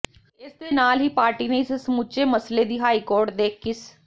ਇਸ ਦੇ ਨਾਲ ਹੀ ਪਾਰਟੀ ਨੇ ਇਸ ਸਮੁੱਚੇ ਮਸਲੇ ਦੀ ਹਾਈ ਕੋਰਟ ਦੇ ਕਿਸ